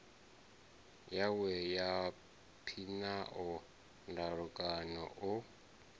yawe ya phiano ndalukanyo o